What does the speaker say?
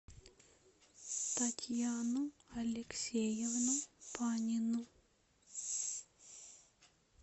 татьяну алексеевну панину